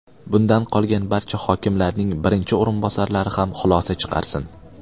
Bundan qolgan barcha hokimlarning birinchi o‘rinbosarlari ham xulosa chiqarsin.